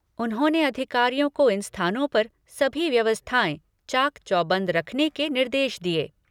उन्होंने अधिकारियों को इन स्थानों पर सभी व्यवस्थांए चाक चौबंद रखने के निर्देश दिए।